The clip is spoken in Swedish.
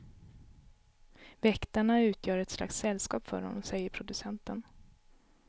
Väktarna utgör ett slags sällskap för honom, säger producenten.